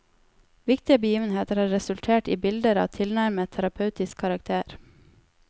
Viktige begivenheter har resultert i bilder av tilnærmet terapeutisk karakter.